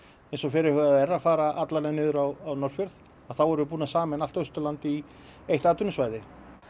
eins og fyrirhugað er að fara alla leið niður á Norðfjörð þá erum við búin að sameina allt Austurland í eitt atvinnusvæði